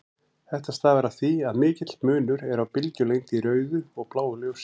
Þetta stafar af því að mikill munur er á bylgjulengd í rauðu og bláu ljósi.